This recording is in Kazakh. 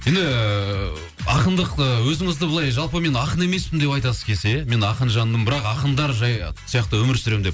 енді ііі ақындық өзіңізді былай жалпы мен ақын емеспін деп айтасыз мен ақын жандымын бірақ ақындар жай сияқты өмір сүремін деп